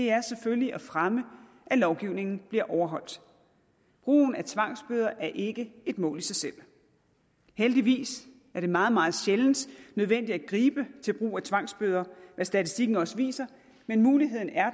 er selvfølgelig at fremme at lovgivningen bliver overholdt brugen af tvangsbøder er ikke et mål i sig selv heldigvis er det meget meget sjældent nødvendigt at gribe til brug af tvangsbøder hvad statistikken også viser men muligheden er